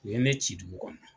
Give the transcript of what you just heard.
U ye ne ci dugu kɔnɔ